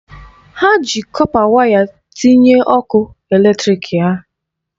Ha ji kọpa waya tinye ọkụ eletrịk ha.